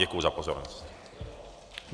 Děkuji za pozornost.